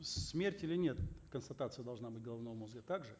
смерть или нет констатация должна быть головного мозга так же